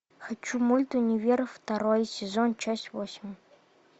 хочу мульт универа второй сезон часть восемь